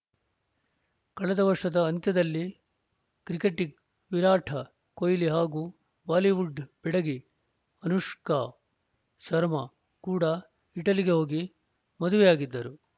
ಕಳೆದ ವರ್ಷದ ಅಂತ್ಯದಲ್ಲಿ ಕ್ರಿಕೆಟಿಗ ವಿರಾಟ್‌ ಕೊಹ್ಲಿ ಹಾಗೂ ಬಾಲಿವುಡ್‌ ಬೆಡಗಿ ಅನುಷ್ಕಾ ಶರ್ಮಾ ಕೂಡ ಇಟಲಿಗೆ ಹೋಗಿ ಮದುವೆಯಾಗಿದ್ದರು